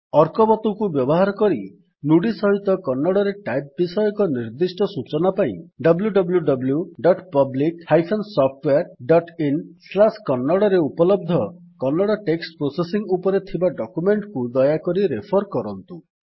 arkavathuକୁ ବ୍ୟବହାର କରି ନୁଡି ସହିତ କନ୍ନଡ଼ରେ ଟାଇପ ବିଷୟକ ନିର୍ଦ୍ଦିଷ୍ଟ ସୂଚନା ପାଇଁ wwwPublic SoftwareinKannada ରେ ଉପଲବ୍ଧ କନ୍ନଡ଼ ଟେକ୍ସଟ୍ ପ୍ରୋସେସିଙ୍ଗ୍ ଉପରେ ଥିବା ଡକ୍ୟୁମେଣ୍ଟ୍ କୁ ଦୟାକରି ରେଫର୍ କରନ୍ତୁ